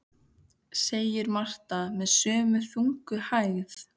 segir Marta með sömu þungu hægð.